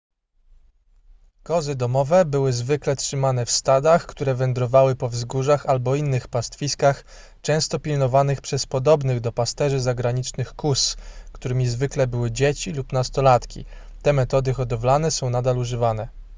kozy domowe były zwykle trzymane w stadach które wędrowały po wzgórzach albo innych pastwiskach często pilnowanych przez podobnych do pasterzy zaganiaczy kóz którymi zwykle były dzieci lub nastolatki te metody hodowlane są nadal używane